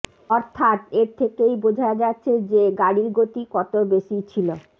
অর্থাৎ এর থেকেই বোঝা যাচ্ছে যে গাড়ির গতি কত বেশি ছিল